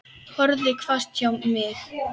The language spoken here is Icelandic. Horfði hvasst á mig.